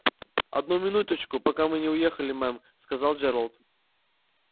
одну минуточку пока мы не уехали мэм сказал джералд